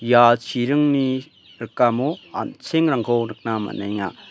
ia chiringni rikamo an·chengrangko nikna man·enga.